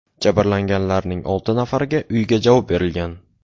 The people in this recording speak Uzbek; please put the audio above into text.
Jabrlanganlarning olti nafariga uyga javob berilgan.